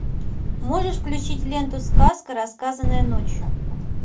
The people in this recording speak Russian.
можешь включить ленту сказка рассказанная ночью